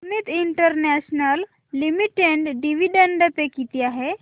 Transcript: Amit international limited dividend pay किती आहे